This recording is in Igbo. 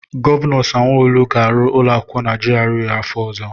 Gọvanọ Sanwo-Olu ga-arụ ụlọakwụkwọ na GRA afọ ọzọ.